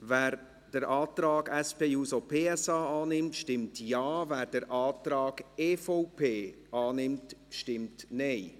Wer den Antrag SP-JUSO-PSA annimmt, stimmt Ja, wer den Antrag EVP annimmt, stimmt Nein.